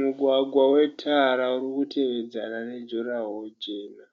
Mugwagwa wetara urikutevedzana nejurawaro jena.